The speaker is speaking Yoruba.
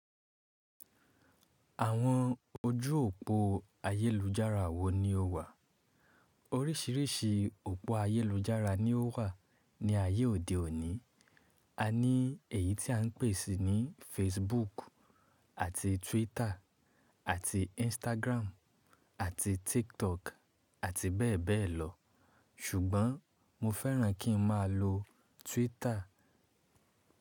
Àwọn ojú òpó ayélujára wo ni ó wà? Oríṣiríṣi òpó ayélujára ni ó wà ní ayé òde òní. A ní èyí tí à ń pè ní Facebook àti Twitter àti Instagram àti TikTok àti bẹ́ẹ̀ bẹ́ẹ̀ lọ. Ṣùgbọ́n mo fẹ́ràn kí n má a lo Twitter.